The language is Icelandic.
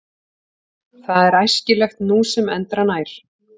Það er æskilegt nú sem endranær.